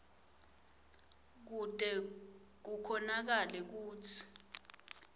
kute kukhonakale kutsi